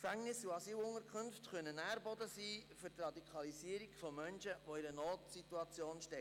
Gefängnisse und Asylunterkünfte können ein Nährboden für die Radikalisierung von Menschen in Notsituationen sein.